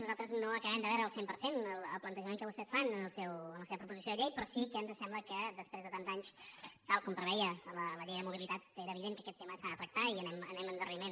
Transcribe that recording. nosaltres no acabem de veure al cent per cent el plantejament que vostès fan en la seva proposició de llei però sí que ens sembla que després de tants anys tal com preveia la llei de mobilitat era evident que aquest tema s’ha de tractar i anem amb endarreriment